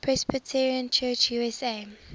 presbyterian church usa